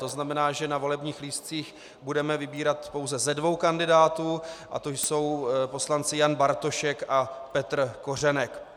To znamená, že na volebních lístcích budeme vybírat pouze ze dvou kandidátů a jsou to poslanci Jan Bartošek a Petr Kořenek.